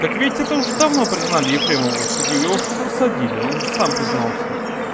так ведь это уже давно признали ефремова в суде его уже посадили он уже сам признался